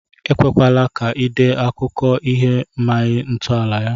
Ekwela ka ị dee akụkọ i maghị ntọala ya!